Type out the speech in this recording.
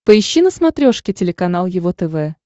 поищи на смотрешке телеканал его тв